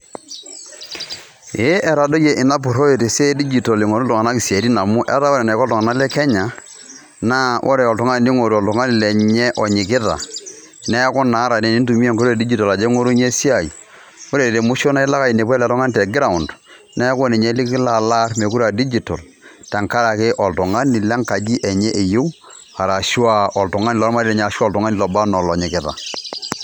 ee etadoyie ina purore tesiai e digital eingoru iltunganak isiatin amu etaa ore eneiko iltunganak le Kenya na ore oltungani ningoru oltungani lenye onyikita. niaku naa ata tinintumia enkoitoi e digital ajo aingorunyie esiai ore te musho naa ilo ainepu oltungani te ground niaku ninye likolo aar mokire aa digital tenkaraki oltungani lenkaji enye eyieu arashu aa oltungani lormarei lenye ashuaa oloba anaa olonyikita.